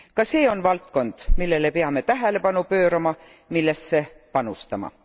Ka see on valdkond, millele peame tähelepanu pöörama, millesse panustama.